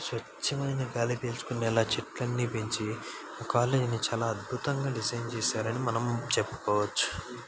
స్వచ్చమయిన గాలి పీల్చుకునేలా చెట్లన్నీ పెంచి కాలేజ్ ని చాలా అద్భుతంగా డిజైన్ చేసారని మనం చెప్పుకోవచ్చు.